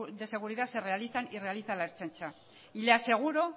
de seguridad se realizan y realiza la ertzaintza y le aseguro